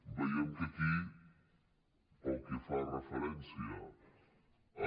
veiem que aquí pel que fa referència a